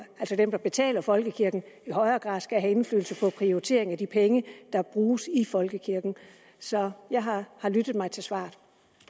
altså dem der betaler folkekirken i højere grad skal have indflydelse på prioriteringen af de penge der bruges i folkekirken så jeg har lyttet mig til svaret